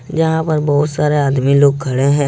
यहां पर बहुत सारे आदमी लोग खड़े हैं।